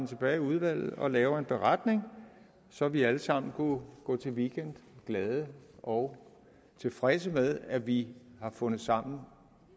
tilbage i udvalget og laver en beretning så vi alle sammen kunne gå til weekend glade og tilfredse med at vi har fundet sammen